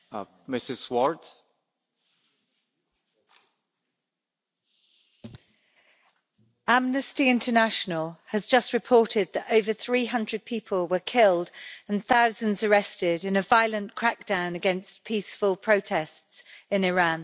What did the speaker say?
Mr President, Amnesty International has just reported that over 300 people were killed and thousands arrested in a violent crackdown against peaceful protests in Iran.